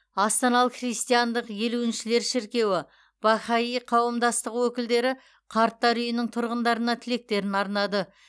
астаналық христиандық елуіншілер шіркеуі бахаи қауымдастығы өкілдері қарттар үйінің тұрғындарына тілектерін арнады